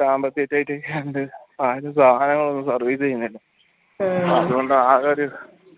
സാമ്പത്തിക tight ഒക്കെ ആയണ്ട് ആരും സാധനങ്ങളൊന്നും service ചെയ്യുന്നില്ല അതുകൊണ്ട് ആകെ ഒരു